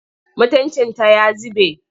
Mutuncinta ya zube.